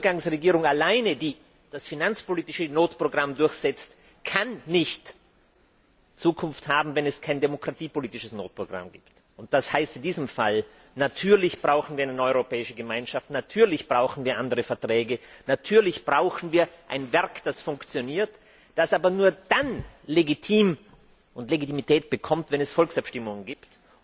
Aber eine Übergangsregierung alleine, die das finanzpolitische Notprogramm durchsetzt, kann nicht Zukunft haben, wenn es kein demokratiepolitisches Notprogramm gibt. Das heißt in diesem Fall Natürlich brauchen wir eine neue Europäische Gemeinschaft, natürlich brauchen wir andere Verträge, natürlich brauchen wir ein Werk, das funktioniert, das aber nur dann legitim ist und Legitimität bekommt, wenn es Volksabstimmungen gibt.